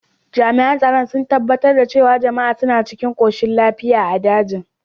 Jami’an tsaro sun tabbatar da cewa jama’a suna cikin koshin lafiya a dajin.